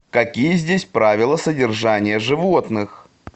какие здесь правила содержания животных